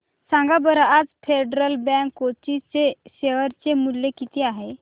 सांगा बरं आज फेडरल बँक कोची चे शेअर चे मूल्य किती आहे